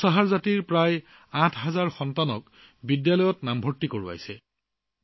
তেওঁ এই জাতিটোৰ প্ৰায় ৮০০০ শিশুক বিদ্যালয়ত ভৰ্তি কৰিছে